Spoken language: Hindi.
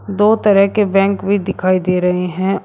दो तरह के बैंक भी दिखाई दे रहे हैं औ--